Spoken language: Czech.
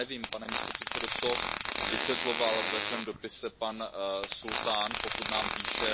Já nevím, pane místopředsedo, co vysvětloval ve svém dopise pan sultán, pokud nám píše.